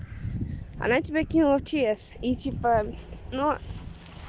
она тебя кинула в чс и типа ну